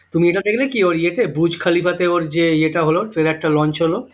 তুমি এটা দেখলে কি? ওর ইয়েতে বুর্জ খলিফাতে ওর যে ইয়েটা হল trailer টা launch হল